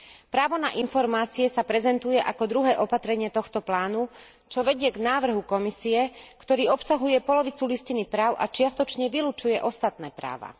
Právo na informácie sa prezentuje ako druhé opatrenie tohto plánu, čo vedie k návrhu Komisie, ktorý obsahuje polovicu listiny práv a čiastočne vylučuje ostatné práva.